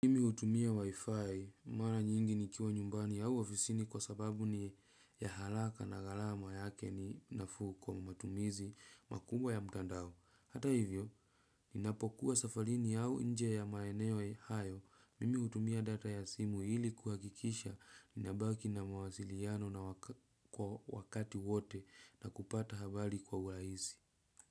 Mimi hutumia wi-fi mara nyingi nikiwa nyumbani au ofisini kwa sababu ni ya haraka na gharama yake ninafu kwa matumizi makubwa ya mtandao. Hata hivyo, nina pokuwa safarini au inje ya maeneo hayo, mimi hutumia data ya simu ili kuhakikisha ninabaki na mawasiliano na wakati wote na kupata habari kwa urahisi.